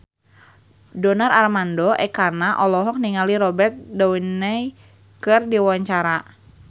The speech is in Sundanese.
Donar Armando Ekana olohok ningali Robert Downey keur diwawancara